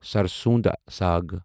سرسوں دا ساگ